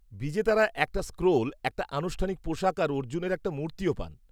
-বিজেতারা একটা স্ক্রোল, একটা আনুষ্ঠানিক পোশাক আর অর্জুনের একটা মূর্তিও পান।